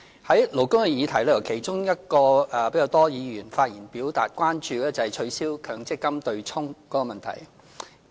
在勞工的議題中，其中一個比較多議員發言表達關注的是取消強制性公積金對沖的問題。